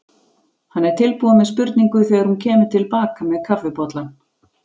Hann er tilbúinn með spurningu þegar hún kemur til baka með kaffibollann.